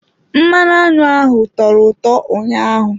Mmanụ aṅụ ahụ tọrọ ụtọ ụnyaahụ.